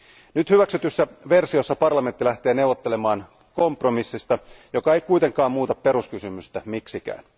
Nyt hyväksytyssä versiossa parlamentti lähtee neuvottelemaan kompromissista, joka ei kuitenkaan muuta peruskysymystä miksikään.